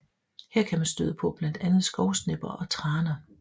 Her kan man støde på blandt andet skovsnepper og traner